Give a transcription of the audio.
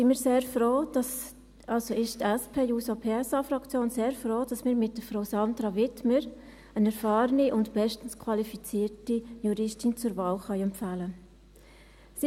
Deshalb sind wir sehr froh, also deshalb ist die SP-JUSO-PSA-Fraktion sehr froh, dass wir mit Frau Sandra Wiedmer eine erfahrende und bestens qualifizierte Juristin zur Wahl empfehlen können.